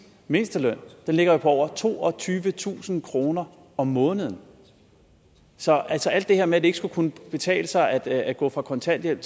mindsteløn ligger jo på over toogtyvetusind kroner om måneden så alt det her med at det ikke skulle kunne betale sig at gå fra kontanthjælp